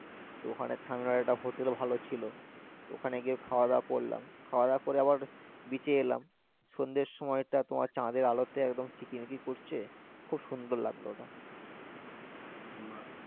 তো ওখানে সামনে একটা হোটেলও ভালো ছিল তো ওখানে গিয়ে খাওয়া দাওয়া করলাম খাওয়া দাওয়া করে আবার একটু beach এ এলাম সন্ধ্যের সময় টা তোমার চাঁদের আলোতে একদম চিকিমিকি করছে খুব সুন্দর লাগলো ওটা বাহ.